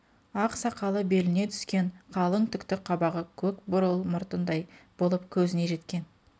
ақ сақалы беліне түскен қалың түкті қабағы көк бурыл мұртындай болып көзіне жеткен